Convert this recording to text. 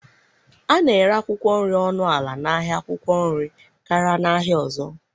A na-ere akwụkwọ nri ọnụ ala n'ahịa akwụkwọ nri karịa n'ahịa ọzọ.